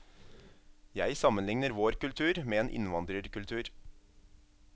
Jeg sammenligner vår kultur med en innvandrerkultur.